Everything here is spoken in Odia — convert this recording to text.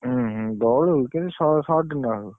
ଉଁହୁଁ ବଳୁ କିନ୍ତୁ ସ~ short ନ ହଉ।